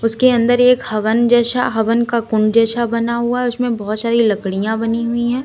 उसके अंदर एक हवन जैसा हवन का कुंड जैसा बना हुआ है उसमें बहुत सारी लड़कियां बनी हुई है।